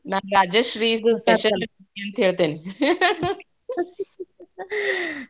ನಾನ್ ರಾಜಶ್ರೀದ್ special ಅಂತ ಹೇಳ್ತೇನಿ lough.